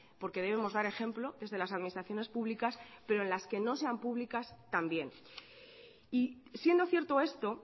porque debemos dar ejemplo desde las administraciones públicas pero en las que no sean públicas también y siendo cierto esto